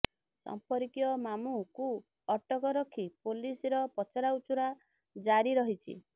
ସମ୍ପର୍କୀୟ ମାମୁଁକୁ ଅଟକ ରଖି ପୋଲିସର ପଚରାଉଚୁରା ଜାରି ରହିଛି